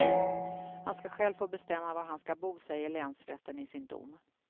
Han ska själv få bestämma var han ska bo, säger länsrätten i sin dom.